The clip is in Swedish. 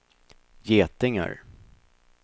getingar